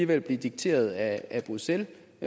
vil blive dikteret af bruxelles